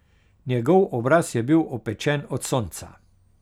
Njegov obraz je bil opečen od sonca.